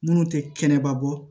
Minnu tɛ kɛnɛbabɔ